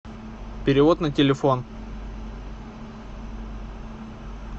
перевод на телефон